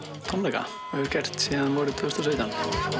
tónleika og hefur gert síðan vorið tvö þúsund og sautján